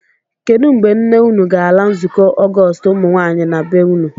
Kedụ mgbe nne unu ga-ala nzukọ Ọgọọst ụmụnwaanyị na be unu?